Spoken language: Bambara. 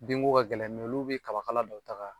Den ko ka gɛlɛn olu be kaba kala dɔ ta ka